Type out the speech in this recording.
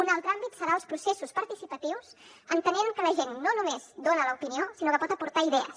un altre àmbit serà el dels processos participatius entenent que la gent no només dona l’opinió sinó que pot aportar idees